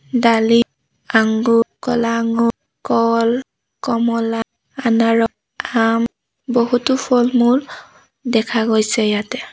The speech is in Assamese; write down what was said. ডালিম আঙুৰ ক'লা আঙুৰ কল কমলা আনাৰস আম বহুতো ফল-মূল দেখা গৈছে ইয়াতে।